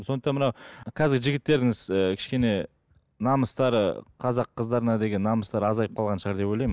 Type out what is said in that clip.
сондықтан мынау қазіргі жігіттердің ы кішкене намыстары қазақ қыздарына деген намыстары азайып қалған шығар деп ойлаймын